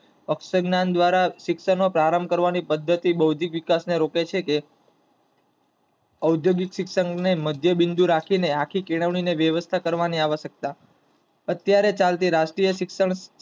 અક્ષરજ્ઞાન દ્વારા શિક્ષણ નો પ્રારંભ કરવા ની પદ્ધતિ બાઉદ્યોગીક વિકાસ ને રોકે છે. ઔદ્યોગિક શિક્ષણ ને મધ્યબિંદુ રાખી ને આખી કેળવણી ને વ્યવસ્થા કરવા ની આવશ્યકતા, અત્યારે ચાલતી રાષ્ટ્રીય શિક્ષણ